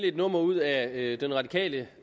et nummer ud af den radikale